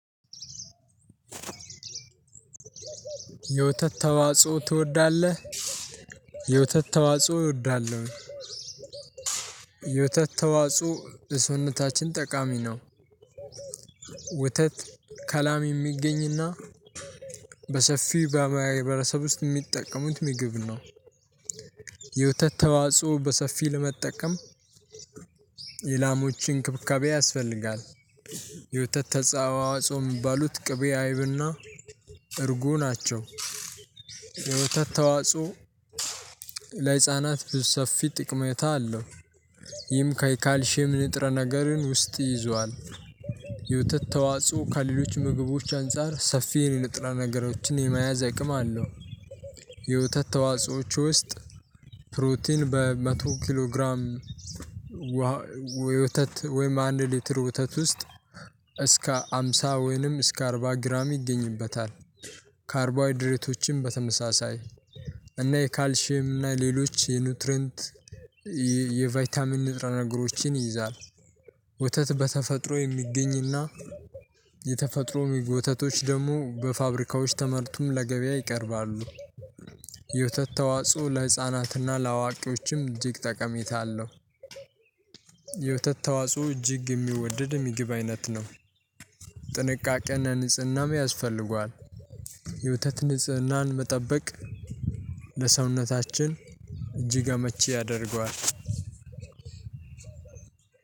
የወተት ተዋጽኦ ትወዳለህ? የወተት ተዋጽኦ እወዳለሁ። የወተት ተዋጽኦ ለሰውነታችን ጠቃሚ ነው። ወተት ከላም የሚገኝና በሰፊው በማህበረሰብ ውስጥ የሚጠቀሙት ምግብ ነው። የወተት ተዋጽኦ በሰፊ ለመጠቀም የ ላሞች እንክብካቤ ያስፈልጋል። የወተት ተጻ ተዋጾ የሚባሉት ቅቤ አይብና እርጉ ናቸው። የወተት ተዋጽኦ ለህፃናት ብዙ ሰፊ ጠቀሜታ አለው። ይህም ከይ ካልሼም ንጥረ ነገርን ውስጥ ይዟል። የወተት ተዋጽኦ ከሌሎች ምግቦች አንፃር ሰፊ የኔ ለጥራ ነገሮችን የመያዝ አይቅም አለው። የወተት ተዋጾዎች ውስጥ ፕሮቲን በመቶ ኪሎ ግራም ዋ እ ወተት ወይም አንድ ሊትር ወተት ውስጥ እስከ ሃምሳ ወይንም እስከ አርባ ግራም ይገኝበታል። ካርቦሃይድሬቶችም በተመሳሳይ እና የካልሼም እና የሌሎች የኑትረንት የ የቫይታሚን ንጥረ ነገሮችን ይይዛል። ወተት በተፈጥሮ የሚገኝና የተፈጥሮ ወተቶች ደግሞ በፋብሪካዎች ተመርቶም ለገበያ ይቀርባሉ። የወተት ተዋጽኦ ለህፃናትና ለአዋቂዎችም እጅግ ጠቀሜታ አለው። የወተት ተዋጽኦ እጅግ የሚወደድ የምግብ አይነት ነው። ጥንቃቄና ንጽህናም ያስፈልገዋል። የወተት ንጽህናን መጠበቅ ለሰውነታችን እጅግ አመቺ ያደርገዋል።